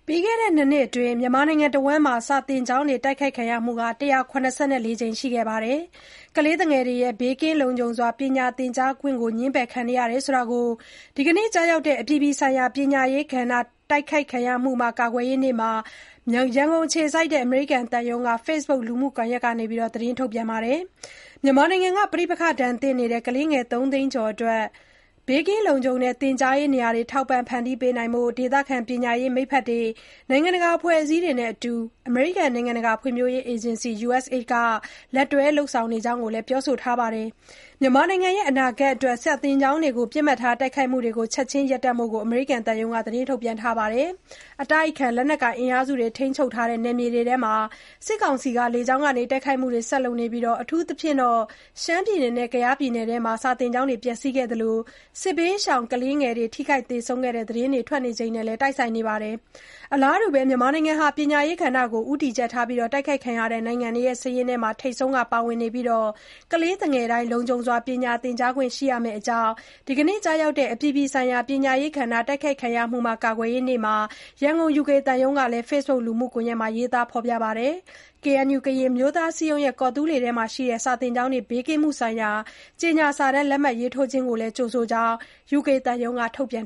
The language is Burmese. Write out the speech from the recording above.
ပြီးခဲ့တဲ့ ၂ နှစ်အတွင်း မြန်မာနိုင်ငံတဝန်းမှာ စာသင်ကျောင်းတွေ တိုက်ခိုက်ခံရမှု ၁၇၄ ကြိမ်ရှိခဲ့ပြီး ကလေးသူငယ်တွေရဲ့ ဘေးကင်းလုံခြုံစွာ ပညာသင်ကြားခွင့် ငြင်းပယ်ခံနေရတဲ့အကြောင်း ဒီနေ့ ကျရောက်တဲ့ အပြည်ပြည်ဆိုင်ရာပညာရေးကဏ္ဍတိုက်ခိုက်ခံရမှုမှ ကာကွယ်ရေးနေ့မှာ ရန်ကုန် အမေရိကန် သံရုံးက Facebook လူမှုကွန်ယက်ကနေ သတင်းထုတ် ပြန်ထားပါတယ်။ မြန်မာနိုင်ငံက ပဋိပက္ခဒဏ်သင့်နေတဲ့ ကလေးငယ် သုံးသိန်းကျော်အတွက် ဘေးကင်းလုံခြုံတဲ့ သင်ကြားရေးနေရာတွေ ထောက်ပံ့ဖန်တီးပေးနိုင်ဖို့ ဒေသခံပညာရေး မိတ်ဖက်တွေ၊ နိုင်ငံတကာအဖွဲ့အစည်းတွေနဲ့ အတူ အမေရိကန် နိုင်ငံတကာဖွံ့ဖြိုးရေးအေဂျင်စီ USAID အနေနဲ့ လက်တွဲလုပ်ဆောင်နေတဲ့အကြောင်းလည်း ပြောဆိုထားပါတယ်။ မြန်မာနိုင်ငံရဲ့ အနာဂတ်အတွက် စာသင်ကျောင်းများကို ပစ်မှတ်ထားတိုက်ခိုက်မှုတွေ ချက်ချင်း ရပ်တန့်ဖို့လည်း အမေရိကန်သံရုံးရဲ့ သတင်းထုတ်ပြန်ချက်မှာ တောင်းဆိုထားပါတယ်။ အတိုက်အခံ လက်နက်ကိုင် အင်အားစုတွေ ထိန်းချုပ်ထားတဲ့ နယ်မြေတွေအတွင်း စစ်ကောင်စီက လေကြောင်းက တိုက်ခိုက်မှုတွေ ဆက်လုပ်နေပြီး အထူးသဖြင့် ရှမ်းပြည်နယ်နဲ့ ကယားပြည်နယ်ထဲမှာ စာသင်ကျောင်းတွေ ပျက်ဆီးခဲ့သလို စစ်ဘေးရှောင် ကလေးငယ်တွေ ထိခိုက်သေဆုံးခဲ့တဲ့ သတင်းတွေ ထွက်နေချိန်နဲ့ တိုက်ဆိုင်နေပါတယ်။ မြန်မာနိုင်ငံဟာ ပညာရေးကဏ္ဍတိုက်ခိုက်ခံရတဲ့ နိုင်ငံတွေ စာရင်း ထဲမှာ ထိပ်ဆုံးကပါဝင်ပြီး ကလေးသူငယ်တိုင်း လုံခြုံစွာ ပညာသင်ကြားခွင့် ရှိရမယ့်အကြောင်း ဒီနေ့ ကျရောက်တဲ့ အပြည်ပြည်ဆိုင်ရာပညာရေးကဏ္ဍတိုက်ခိုက်ခံရမှုမှ ကာကွယ်ရေးနေ့မှာ ရန်ကုန် UK သံရုံးရဲ့ Facebook လူမှုကွန်ယက်မှာ ရေးသားထားပါတယ်။ ကေအဲန်ယူ-ကရင်အမျိုးသားအစည်းအရုံးရဲ့ ကော်သူးလေအတွင်းမှာ ရှိတဲ့ ကျောင်းတွေ ဘေးကင်းမှု ဆိုင်ရာကြေညာစာတမ်း လက်မှတ်ရေးထိုးခြင်းကို ကြိုဆိုတဲ့အကြောင်းလည်း UK သံရုံးရဲ့ ထုတ်ပြန်